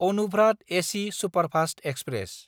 अनुभ्रात AC superfast express